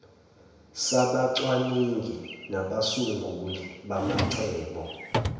sabacwaningi nabasunguli bamacebo